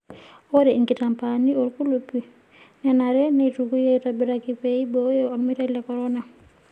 Ore inkitaambani olkulup nenare neitukui aitobiraki pee eiboyoo olmeitai le corona.